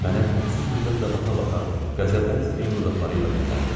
Mənə hədsiz nifrətlə baxa-baxa qəzəblə titrəyən dodaqları ilə dilləndi: